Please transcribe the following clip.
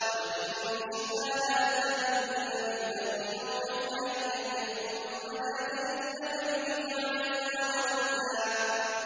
وَلَئِن شِئْنَا لَنَذْهَبَنَّ بِالَّذِي أَوْحَيْنَا إِلَيْكَ ثُمَّ لَا تَجِدُ لَكَ بِهِ عَلَيْنَا وَكِيلًا